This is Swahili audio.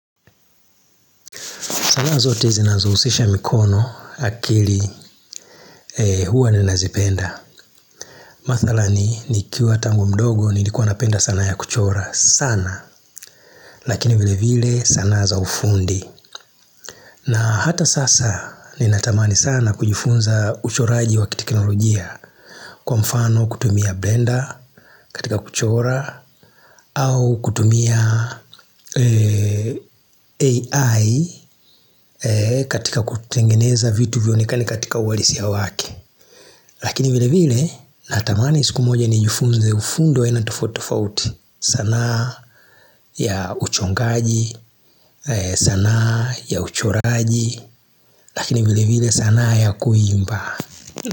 Sanaa zote zinazohusisha mikono akili huwa ninazipenda. Mathala ni nikiwa tangu mdogo nilikuwa napenda sanaa ya kuchora sana. Lakini vile vile sanaa za ufundi. Na hata sasa ninatamani sana kujifunza uchoraji wa kiteknolojia. Kwa mfano kutumia bender katika kuchora au kutumia AI katika kutengeneza vitu vionekane katika ualisia wake Lakini vile vile natamani siku moja ni jufunze ufundi wa aina tofauti tofauti sanaa ya uchongaji, sanaa ya uchoraji Lakini vile vile sanaa ya kuimba.